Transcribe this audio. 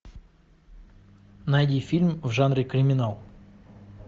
найди фильм в жанре криминал